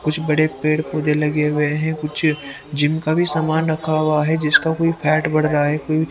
कुछ बड़े पेड़ पौधे लगे हुए हैं कुछ जिम का भी सामान रखा हुआ है जिसका कोई फैट बढ़ रहा है--